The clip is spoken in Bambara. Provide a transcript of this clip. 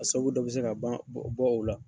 A sababu dɔ bɛ se ka ban bɔ bɔ o la.